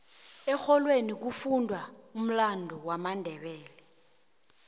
erholweni bekufundwa umlando wamandebele